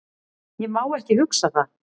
Ég má ekki hugsa það.